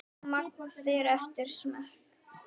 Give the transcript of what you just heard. Magn fer eftir smekk.